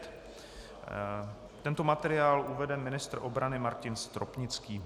Tento materiál uvede ministr obrany Martin Stropnický.